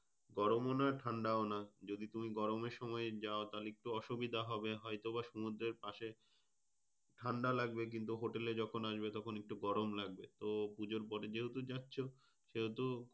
গরমও না ঠান্ডাও না। যদি তুমি গরমের সময় যায় তাহলে একটু অসুবিধা হবে। হয়তো বা সমুদ্রের পাশে ঠান্ড লাগবে কিন্তু hotel এ যখন আসবে তখন একটু গরম লাগবে। তো পুজোর পরে যেহেতু যাচ্ছো সেহেতু,